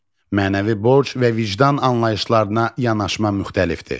Mənəvi borc və vicdan anlayışlarına yanaşma müxtəlifdir.